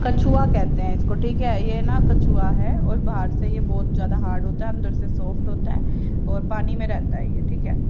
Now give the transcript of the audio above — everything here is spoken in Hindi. कछुआ कहते हैं इसको ठीक है ये ना कछुआ है और बाहर से ये बहुत ज्यादा हार्ड होता है अंदर से सॉफ्ट होता है और पानी में रहता है ये ठीक है।